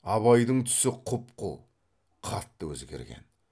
абайдың түсі құп қу қатты өзгерген